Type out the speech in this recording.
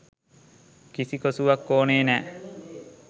කිසි කොසුවක් ඕනේ නැහැ.